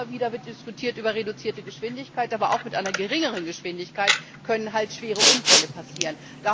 Da wird immer wieder diskutiert über reduzierte Geschwindigkeit, aber auch mit geringerer Geschwindigkeit können halbschwere Unfälle passieren.